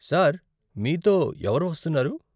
Sir, మీతో ఎవరు వస్తున్నారు?